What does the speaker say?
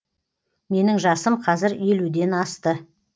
менің жасым қазір елуден асты